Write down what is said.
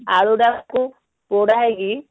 ଆଳୁ ଟାକୁ ପୋଡା ହେଇକି